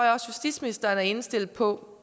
justitsministeren er indstillet på